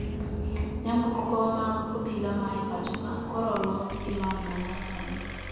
Nyamburko mag obila ma e pacho kae koro olosi gi lony manyasani